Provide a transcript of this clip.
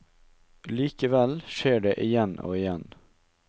Likevel skjer det igjen og igjen.